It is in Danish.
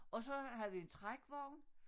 Og så havde vi en trækvogn